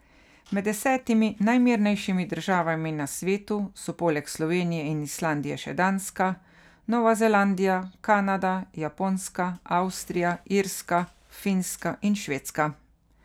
Med desetimi najmirnejšimi državami na svetu so poleg Slovenije in Islandije še Danska, Nova Zelandija, Kanada, Japonska, Avstrija, Irska, Finska in Švedska.